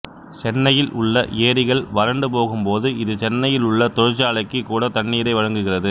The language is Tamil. சென்னையில் உள்ள ஏரிகள் வறண்டு போகும் போது இது சென்னையில் உள்ள தொழிற்சாலைக்கு கூட தண்ணீரை வழங்குகிறது